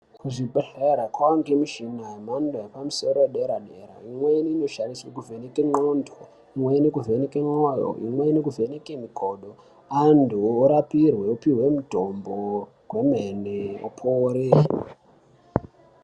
Kuzvibhehlera kwaane michina yemhando yepamusoro yedera dera imweni inoshandiswa kuvheneka nthondo, imweni inovheneke mwoyo, imweni inovheneke mikodo. Antu apihwe mitombo yemene apore.